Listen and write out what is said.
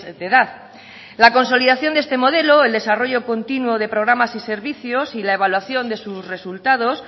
de edad la consolidación de este modelo el desarrollo continuo de programas y servicios y la evaluación de sus resultados